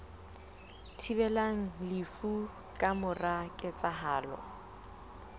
thibelang lefu ka mora ketsahalo